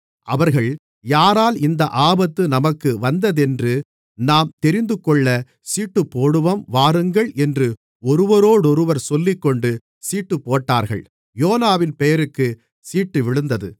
அவர்கள் யாரால் இந்த ஆபத்து நமக்கு வந்ததென்று நாம் தெரிந்துகொள்ள சீட்டுப்போடுவோம் வாருங்கள் என்று ஒருவரோடொருவர் சொல்லிக்கொண்டு சீட்டுப்போட்டார்கள் யோனாவின் பெயருக்குச் சீட்டு விழுந்தது